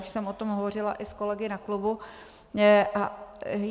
Už jsem o tom hovořila i s kolegy na klubu.